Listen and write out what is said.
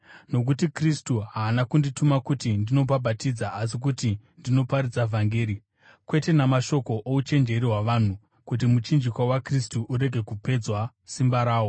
Nokuti Kristu haana kundituma kuti ndinobhabhatidza asi kuti ndinoparidza vhangeri, kwete namashoko ouchenjeri hwavanhu, kuti muchinjikwa waKristu urege kupedzwa simba rawo.